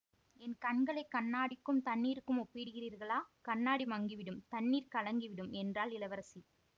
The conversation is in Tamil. என் கண்களை கண்ணாடிக்கும் தண்ணீருக்கும் ஒப்பிடுகிறீர்களா கண்ணாடி மங்கிவிடும் தண்ணீர் கலங்கி விடும் என்றாள் இளவரசி